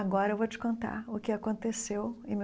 Agora eu vou te contar o que aconteceu em mil.